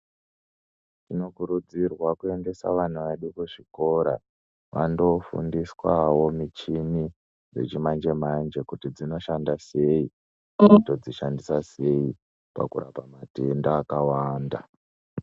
Tinokurudzirwa kuendesa vana vedu kuzvikora vandoofundiswawo muchini dzechimanje manje kuti dzinoshanda sei todzishandisa sei pakurapa matenda akawanda.